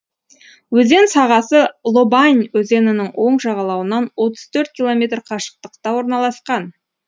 өзен сағасы лобань өзенінің оң жағалауынан отыз төрт километр қашықтықта орналасқан